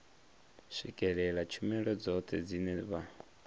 swikelela tshumelo dzoṱhe dzine vha